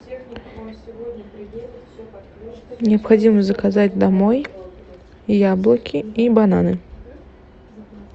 необходимо заказать домой яблоки и бананы